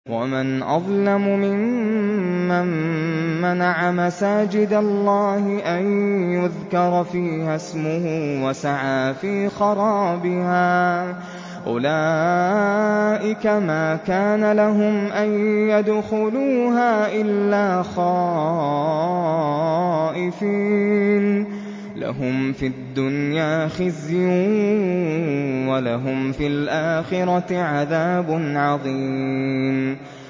وَمَنْ أَظْلَمُ مِمَّن مَّنَعَ مَسَاجِدَ اللَّهِ أَن يُذْكَرَ فِيهَا اسْمُهُ وَسَعَىٰ فِي خَرَابِهَا ۚ أُولَٰئِكَ مَا كَانَ لَهُمْ أَن يَدْخُلُوهَا إِلَّا خَائِفِينَ ۚ لَهُمْ فِي الدُّنْيَا خِزْيٌ وَلَهُمْ فِي الْآخِرَةِ عَذَابٌ عَظِيمٌ